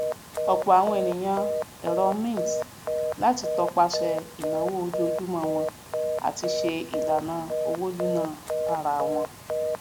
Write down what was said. òpò àwọn ènìyàn ẹrọ mint lati topasẹ ìnáwó ojoojúmọ won àti ṣe ìlànà owó nínáa tarawon